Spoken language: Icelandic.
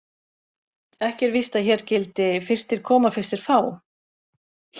Ekki er víst að hér gildi: Fyrstir koma, fyrstir fá.